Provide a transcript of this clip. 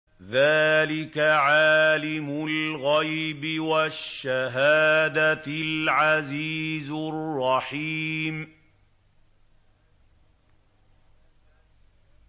ذَٰلِكَ عَالِمُ الْغَيْبِ وَالشَّهَادَةِ الْعَزِيزُ الرَّحِيمُ